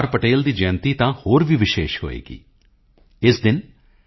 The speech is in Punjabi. ਪਟੇਲ ਦੀ ਜਯੰਤੀ ਤਾਂ ਹੋਰ ਵੀ ਵਿਸ਼ੇਸ਼ ਹੋਵੇਗੀ ਇਸ ਦਿਨ ਸ